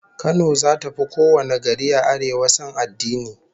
Kano zata fi kowane gari a Arewa son addini